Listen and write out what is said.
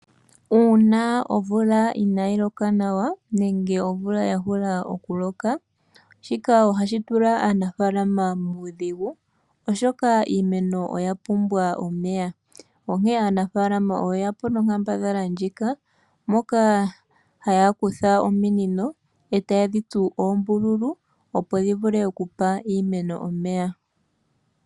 Uuna omvula ina yi loka nawa nenge omvula ya hula okuloka shika ohashi tula aanafalama muudhigu oshoka iimeno oya pumbwa omeya onkene aanafalama oye yapo nonkambadhala ndjika moka haya kutha ominino e taye dhi tsu oombululu opo dhi vule okupa iimeno omeya.